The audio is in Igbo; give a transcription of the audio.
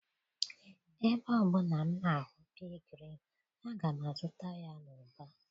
Ebe ọ bụla m na-ahụ pea green, aga m azụta ya n'ụba.